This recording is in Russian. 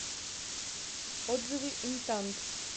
отзывы интант